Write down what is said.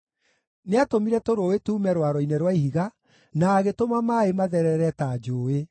nĩatũmire tũrũũĩ tuume rwaro-inĩ rwa ihiga, na agĩtũma maaĩ matherere ta njũũĩ.